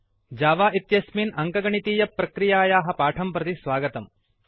Java इत्यस्मिन् अङ्कगणितप्रक्रियायाः पाठं प्रति स्वागतम्